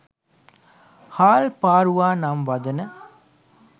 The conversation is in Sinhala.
හාල් පාරුවා නම් වදන